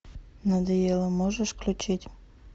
надоело можешь включить